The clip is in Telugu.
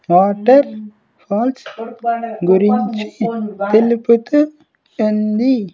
వాటర్ ఫాల్స్ గురించి తెలుపుతూ ఉంది.